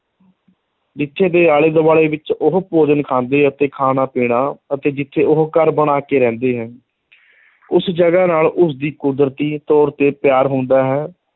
ਜਿੱਥੇ ਦੇ ਆਲੇ ਦੁਆਲੇ ਵਿੱਚ ਉਹ ਭੋਜਨ ਖਾਂਦੇ ਅਤੇ ਖਾਣਾ-ਪੀਣਾ ਅਤੇ ਜਿੱਥੇ ਉਹ ਘਰ ਬਣਾ ਕੇ ਰਹਿੰਦੇ ਹੈ ਉਸ ਜਗ੍ਹਾ ਨਾਲ ਉਸਦੀ ਕੁਦਰਤੀ ਤੌਰ 'ਤੇ ਪਿਆਰ ਹੁੰਦਾ ਹੈ,